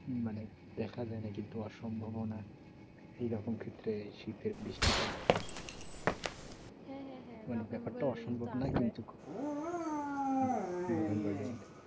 মানে দেখা যায়না। কিন্তু অসম্ভবও না সেরকম ক্ষেত্রে শীতের বৃষ্টিটা মানে ব্যাপারটা অসম্ভব না। কিন্তু হম বলেন বলেন